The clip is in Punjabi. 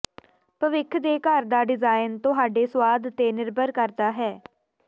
ਭਵਿੱਖ ਦੇ ਘਰ ਦਾ ਡਿਜ਼ਾਇਨ ਤੁਹਾਡੇ ਸੁਆਦ ਤੇ ਨਿਰਭਰ ਕਰਦਾ ਹੈ